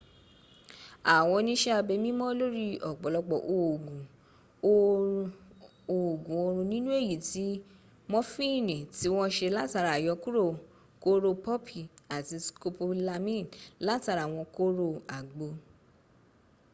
àwọn oníṣẹ́abẹ nímọ̀ lórí ọ̀pọ̀lọpọ̀ òògun oorun nínú èyí tí mọfìnì tí wọ́n se látara àyọkúrò kóró pọ́pì àti scopolamine latara àwọn kóró àgbo